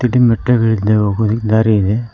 ಇದಿನ್ ಬೆಟ್ಟಗಳಿಂದೆ ಹೋಗಲು ದಾರಿ ಇದೆ.